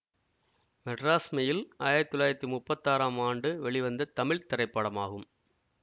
Madras Mail ஆயிரத்தி தொள்ளாயிரத்தி முப்பத்தி ஆறாம் ஆண்டு வெளிவந்த தமிழ் திரைப்படமாகும்